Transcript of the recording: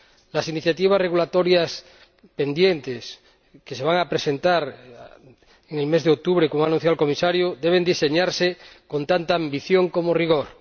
Las iniciativas regulatorias pendientes que se van a presentar en el mes de octubre, como ha anunciado el Comisario, deben diseñarse con tanta ambición como rigor.